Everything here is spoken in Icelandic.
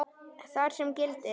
þar sem gildir